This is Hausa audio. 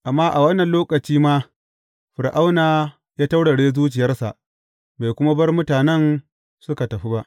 Amma a wannan lokaci ma, Fir’auna ya taurare zuciyarsa, bai kuma bar mutanen suka tafi ba.